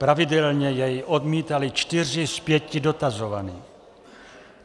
Pravidelně jej odmítali čtyři z pěti dotazovaných.